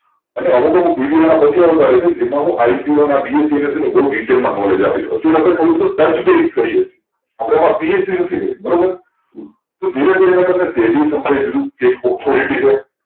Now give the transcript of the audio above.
આને હવે તો હું video ના પછી બતાવીશુ જેમાં હું IPO ના BSE ના બૌ detail માં knowledge આપીસ પછી આપણે થોડું બધું ટચ ભી add કરીયે છીયે આપણે એમાં PhD નથી કરી બરોબર તો ધીરે ધીરે તમે SEBI સમ્જાવીસુ એક authority છે